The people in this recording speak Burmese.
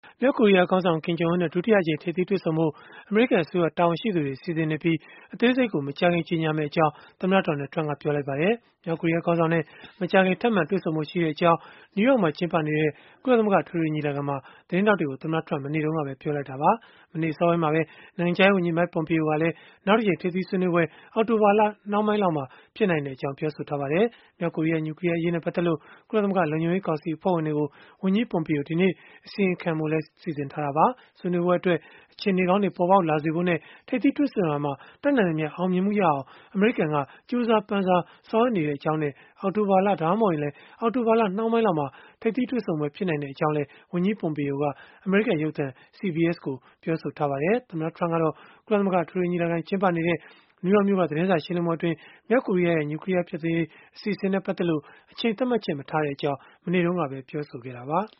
မြောက်ကိုရီးယားခေါင်းဆောင် Kim Jong Un နဲ့ ဒုတိယအကြိမ် ထိပ်သီးတွေ့ဆုံဖို့ အမေရိကန် အစိုးရတာဝန်ရှိသူတွေ စီစဉ်နေပြီး၊ အသေးစိတ်ကို မကြာခင် ကြေညာမှာဖြစ်ကြောင်း သမ္မတ Donald Trump က ပြောဆိုလိုက်ပါတယ်။ မြောက်ကိုရီးယားခေါင်းဆောင်နဲ့ မကြာခင် ထပ်မံတွေ့ဆုံဖို့ ရှိတဲ့အကြောင်း နယူးယောက်မြို့မှာ ကျင်းပနေတဲ့ ကုလသမဂ္ဂ အထွေထွေညီလာခံမှာ သတင်းထောက်တွေကို သမ္မတ Trump က မနေ့တုန်းကပဲ ပြောဆိုလိုက်တာပါ။ မနေ့အစောပိုင်းမှာပဲ နိုင်ငံခြားရေးဝန်ကြီး Mike Pompeo ကလည်း နောက်တကြိမ် ထိပ်သီးဆွေးနွေးပွဲ အောက်တိုဘာလ နောက်ပိုင်းလောက်မှာ ဖြစ်နိုင်ကြောင်းလည်း ပြောဆိုထားပါတယ်။ မြောက်ကိုရီးယား နျူကလီးယား အရေးနဲ့ ပတ်သက်လို့ ကုလသမဂ္ဂ လုံခြုံရေးကောင်စီ အဖွဲ့ဝင်တွေကို ဝန်ကြီး Pompeo ဒီနေ့ အစီရင်ခံတင်ပြဖို့လည်း စီစဉ်ထားတာပါ။ ဆွေးနွေးပွဲအတွက် အခြေအနေကောင်းတွေ ပေါ်ပေါက်လာစေဖို့နဲ့ ထိပ်သီးတွေ့ဆုံရာမှာ တတ်နိုင်သမျှ အောင်မြင်မှုရအောင် အမရိကန်က ကြိုးစားပမ်းစား ဆောင်ရွက်နေကြောင်းနဲ့ အောက်တိုဘာလ၊ ဒါမှမဟုတ် အောက်တိုဘာလ နောက်ပိုင်းလောက်မှာ ထိပ်သီးတွေ့ဆုံပွဲ ဖြစ်နိုင်ကြောင်းလည်း ဝန်ကြီး Pompeo က အမေရိကန်ရုပ်သံ CBS ကိုပြောဆိုထားပါတယ်။ သမ္မတ Trump ကတော့ ကုလသမဂ္ဂ အထွေထွေညီလာခံ ကျင်းပနေတဲ့ နယူးယောက်မြို့က သတင်းစာရှင်းလင်းပွဲအတွင်း မြောက်ကိုရီးယားရဲ့ နျူကလီးယား ဖျက်သိမ်းရေး အစီအစဉ်နဲ့ ပတ်သက်လို့ အချိန်သတ်မှတ်ချက် မထားတဲ့အကြောင်း ပြောဆိုခဲ့တာပါ။